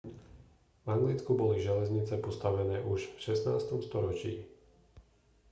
v anglicku boli železnice postavené už v 16. storočí